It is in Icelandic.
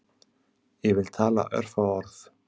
Ég vil tala örfá orð